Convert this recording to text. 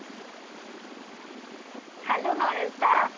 hello Naresh the?